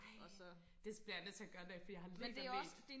ej det bliver jeg nødt til at gøre en dag for jeg har ledt og ledt